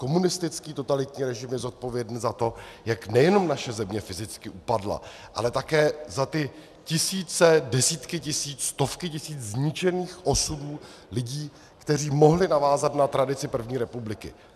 Komunistický totalitní režim je zodpovědný za to, jak nejenom naše země fyzicky upadla, ale také za ty tisíce, desítky tisíc, stovky tisíc zničených osudů lidí, kteří mohli navázat na tradici první republiky.